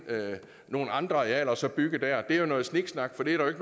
nogle andre arealer og så bygge der er jo noget sniksnak for det er